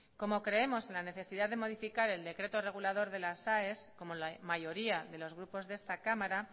como creemos en la necesidad de modificar el decreto regulador de las aes como la mayoría de los grupos de esta cámara